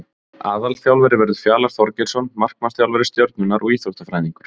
Aðalþjálfari verður Fjalar Þorgeirsson markmannsþjálfari Stjörnunnar og Íþróttafræðingur.